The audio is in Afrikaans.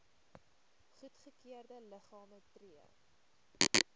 goedgekeurde liggame tree